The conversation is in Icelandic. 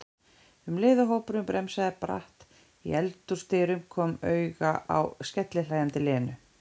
um leið og hópurinn bremsaði bratt í eldhúsdyrum, kom auga á skellihlæjandi Lenu.